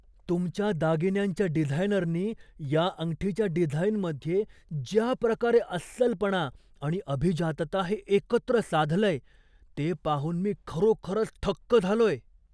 तुमच्या दागिन्यांच्या डिझायनरनी या अंगठीच्या डिझाइनमध्ये ज्या प्रकारे अस्सलपणा आणि अभिजातता हे एकत्र साधलंय ते पाहून मी खरोखरच थक्क झालोय.